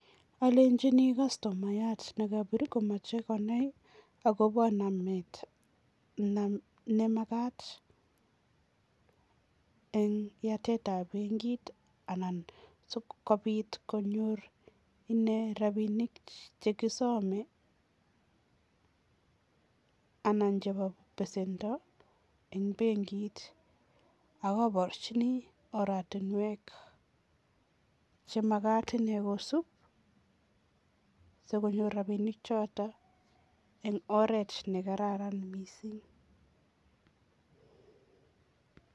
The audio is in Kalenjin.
Alenchini kastomayat nekapiir komachei konai akobo nemakat eng yatetab benkit anan sikopit konyor inee rapinik chekisome anan chebo besendo eng benkit ak kaporchini oratinwek chemakat inee kosuup sikonyor rapinik choto eng oret ne kararan mising.